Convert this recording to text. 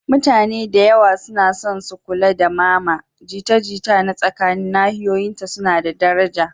Mutane da yawa suna son su kula da mama, jita-jita na tsakanin nahiyoyinta suna da daraja.